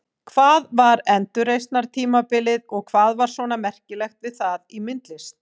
Hvað var endurreisnartímabilið og hvað var svona merkilegt við það í myndlist?